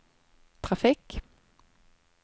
trafikk